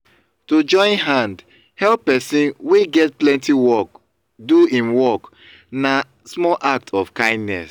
to join hand help persin wey get plenty work do im work na small act of kindness